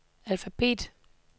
alfabet